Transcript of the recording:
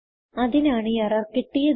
അതിനാണ് എറർ കിട്ടിയത്